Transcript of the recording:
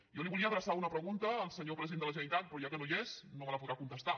jo volia adreçar una pregunta al senyor president de la generalitat però com que no hi és no me la podrà contestar